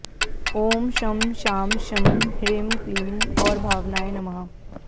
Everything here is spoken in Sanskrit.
ॐ शं शां षं ह्रीं क्लीं गौरभावनाय नमः